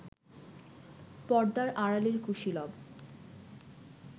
পর্দার আড়ালের কুশীলব